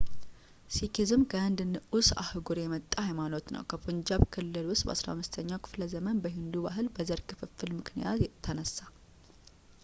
ሲኪዝም ከህንድ ንዑስ አህጉር የመጣ ሃይማኖት ነው ከፑንጃብ ክልል ውስጥ በ15ኛው ክፍለ ዘመን በሂንዱ ባህል በዘር ክፍፍል ምክንያት ተነሳ